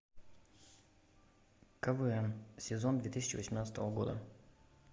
квн сезон две тысячи восемнадцатого года